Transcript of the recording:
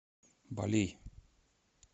балей